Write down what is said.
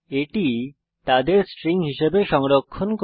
এটি তাদের স্ট্রিং হিসাবে সংরক্ষণ করে